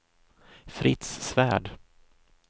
Fritz Svärd